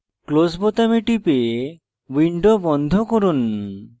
close বোতামে টিপে window বন্ধ করুন